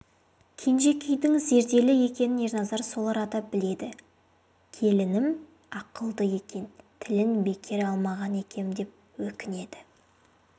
кенжекейдің зерделі екенін ерназар сол арада біледі келінім ақылды екен тілін бекер алмаған екем деп өкінеді